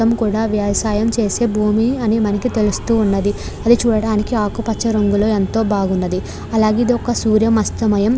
ఈ మొత్తం అంతా కూడా వ్యవసాయం చేసే భూమి అని మనకు తెలుస్తున్నది. అది చూడడానికి ఆకుపచ్చ రంగులో ఎంతో బాగున్నది అలాగే ఇది ఒక సూర్య మస్త మాయం.